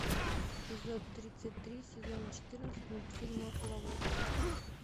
эпизод тридцать три сезона четырнадцать мультфильма ловушка